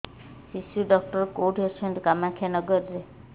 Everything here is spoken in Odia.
ଶିଶୁ ଡକ୍ଟର କୋଉଠି ଅଛନ୍ତି କାମାକ୍ଷାନଗରରେ